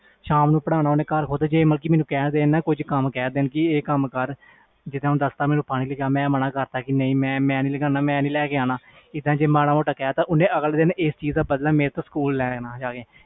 ਸ਼ਾਮ ਨੂੰ ਪੜ੍ਹਨਾ ਘਰ ਖੁਦ ਜੇ ਮੈਨੂੰ ਕਹਿ ਦੇਣ ਕੁਛ ਕੰਮ ਕਰ ਜੇ ਮੈਂ ਮਾਨ ਕਰਤਾ ਮੈਂ ਨਹੀਂ ਕਰਨਾ ਫਿਰ ਇਸ ਚੀਜ਼ ਦਾ ਬਦਲਾ ਸਕੂਲ ਜਾ ਕੇ ਲੈਣਾ